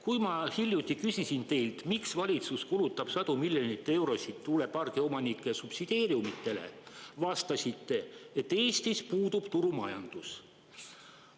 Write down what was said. Kui ma hiljuti küsisin teilt, miks valitsus kulutab sadu miljoneid eurosid tuulepargiomanike subsideeriumitele, vastasite, et Eestis puudub turumajandus.